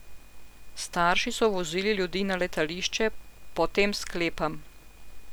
Starši so vozili ljudi na letališče, po tem sklepam.